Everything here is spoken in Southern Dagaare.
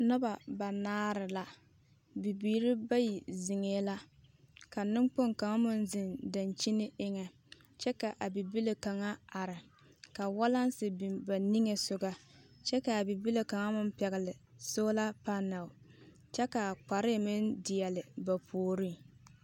Noba banaare la, bibiiri bayi zeŋɛɛ la ka neŋkpoŋ kaŋa meŋ zeŋ dankyini eŋɛ kyɛ ka a bibile kaŋa are ka walansi biŋ ba niŋesogɔ kyɛ ka a bibile kaŋa meŋ pɛgele soola panɛl kyɛ k'a kpare meŋ deɛle ba puoriŋ.